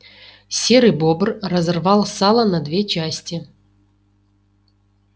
серый бобр разорвал сало на две части